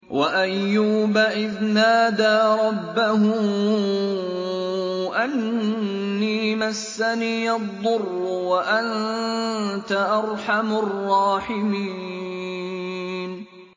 ۞ وَأَيُّوبَ إِذْ نَادَىٰ رَبَّهُ أَنِّي مَسَّنِيَ الضُّرُّ وَأَنتَ أَرْحَمُ الرَّاحِمِينَ